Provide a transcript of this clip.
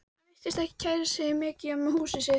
Hann virtist ekki kæra sig mikið um húsið sitt.